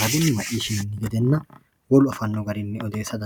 raguni macishinoni gedena wolu odeesano garini odeesate.